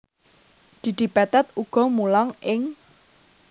Didi Petet uga mulang ing